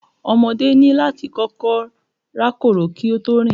Ọmọdé ní láti kọ́kọ́ rákòrò kí ó tó rìn